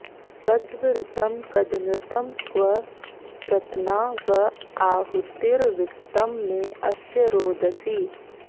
कद्व ऋतं कदनृतं क्व प्रत्ना व आहुतिर्वित्तं मे अस्य रोदसी